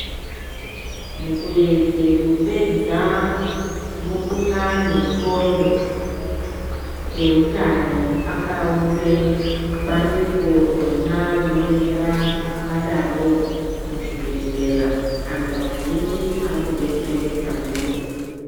Mukuedze kupedza mukhuhlani wendxondo, eutano akaunze bandiko rona rinodetsera anhu akadarowo muzvibhedhlera anthu azhinji arikudetsereka ndiro.